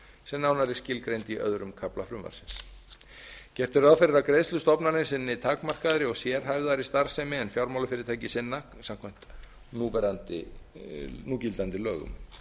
sem nánar er skilgreind í öðrum kafla frumvarpsins gert er ráð fyrir að greiðslustofnanir sinni takmarkaðri og sérhæfðari starfsemi en fjármálafyrirtæki sinna samkvæmt núgildandi lögum